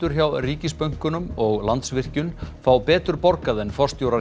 hjá ríkisbönkunum og Landsvirkjun fá betur borgað en forstjórar